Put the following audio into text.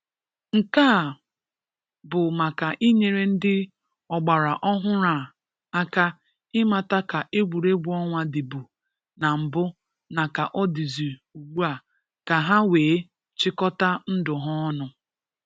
Nke a bụ maka inyere ndị ọgbara ọhụrụ a aka ị mata ka egwuọnwa dịbụ na mbụ na ka ọ dịzị ugbua ka ha wee chịkọta ndụ ha ọnụ.